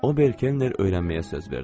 Ober Kenner öyrənməyə söz verdi.